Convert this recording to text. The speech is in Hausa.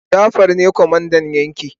Jafar ne kwamandan yaki